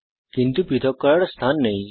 কিন্তু তাদের পৃথক করার স্থান নেই